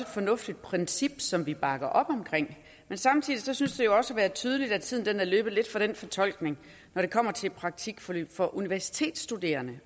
fornuftigt princip som vi bakker op om men samtidig synes det også at være tydeligt at tiden er løbet lidt fra den fortolkning når det kommer til praktikforløb for universitetsstuderende